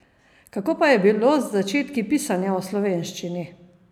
Kako pa je bilo z začetki pisanja v slovenščini?